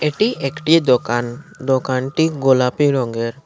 এটি একটি দোকান দোকানটি গোলাপী রঙের।